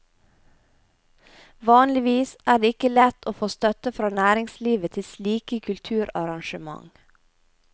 Vanligvis er det ikke lett å få støtte fra næringslivet til slike kulturarrangement.